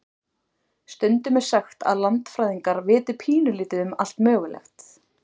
Stundum er sagt að landfræðingar viti pínulítið um allt mögulegt.